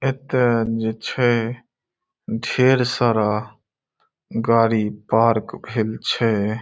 एक जे छे ढ़ेर सारा गाडी पार्क भेल छे।